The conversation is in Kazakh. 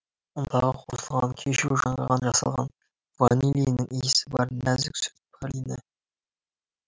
ұнтағы қосылған кешью жаңғағынан жасалған ванилиннің иісі бар нәзік сүт пралині